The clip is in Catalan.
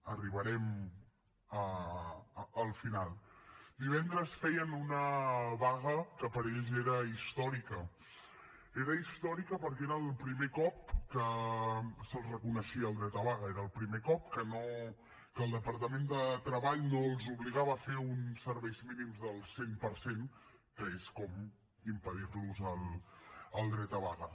arribarem al final divendres feien una vaga que per ells era històrica era històrica perquè era el primer cop que se’ls reconeixia el dret a vaga era el primer cop que el departament de treball no els obligava a fer uns serveis mínims del cent per cent que és com impedir los el dret a vaga